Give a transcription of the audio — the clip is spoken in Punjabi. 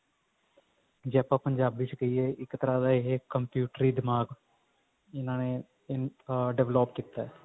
ਜੇ ਆਪਾਂ ਪੰਜਾਬੀ ਚ ਕਹਿਏ ਤਾਂ ਇੱਕ ਤਰ੍ਹਾਂ ਦਾ ਇਹ computer ਦਿਮਾਗ ਇਹਨਾ ਨੇ develop ਕੀਤਾ